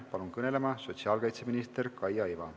Palun kõnelema sotsiaalkaitseminister Kaia Iva!